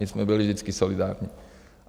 My jsme byli vždycky solidární.